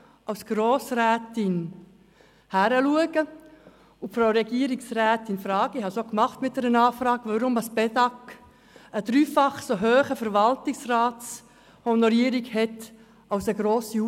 Als solche kann ich die Regierungsrätin fragen, weshalb die Bedag Informatik AG eine dreimal so hohe Verwaltungsratshonorierung hat wie die grossen Universitären